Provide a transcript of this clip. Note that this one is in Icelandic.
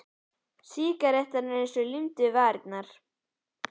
Sígarettan eins og límd á milli varanna.